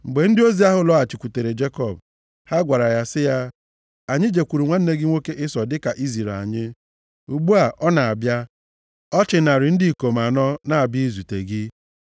Mgbe ndị ozi ahụ lọghachikwutere Jekọb, ha gwara ya sị ya, “Anyị jekwuru nwanne gị nwoke Ịsọ dị ka i ziri anyị. Ugbu a, ọ na-abịa. Ọ chị narị ndị ikom anọ na-abịa izute gị.”